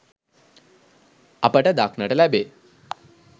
අපට දක්නට ලැබේ.